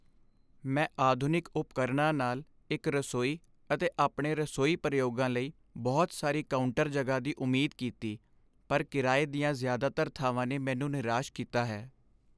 ਮੈਂ ਆਧੁਨਿਕ ਉਪਕਰਣਾਂ ਨਾਲ ਇੱਕ ਰਸੋਈ ਅਤੇ ਆਪਣੇ ਰਸੋਈ ਪ੍ਰਯੋਗਾਂ ਲਈ ਬਹੁਤ ਸਾਰੀ ਕਾਊਂਟਰ ਜਗ੍ਹਾ ਦੀ ਉਮੀਦ ਕੀਤੀ, ਪਰ ਕਿਰਾਏ ਦੀਆਂ ਜ਼ਿਆਦਾਤਰ ਥਾਵਾਂ ਨੇ ਮੈਨੂੰ ਨਿਰਾਸ਼ ਕੀਤਾ ਹੈ।